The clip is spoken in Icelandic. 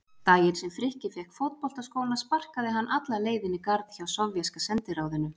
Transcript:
Daginn sem Frikki fékk fótboltaskóna sparkaði hann alla leið inn í garð hjá Sovéska sendiráðinu.